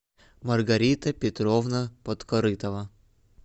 маргарита петровна подкорытова